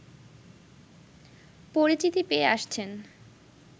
পরিচিতি পেয়ে আসছেন